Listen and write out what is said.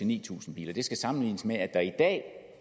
ni tusind biler det skal sammenlignes med at der i dag